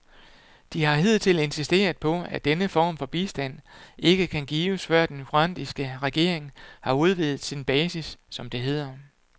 De har hidtil insisteret på, at denne form for bistand ikke kan gives, før den nye rwandiske regering har udvidet sin basis, som det hedder.